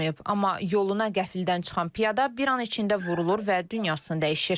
Amma yoluna qəfildən çıxan piyada bir an içində vurulur və dünyasını dəyişir.